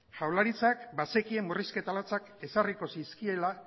jaurlaritzak bazekien murrizketa latzak ezarriko zizkiela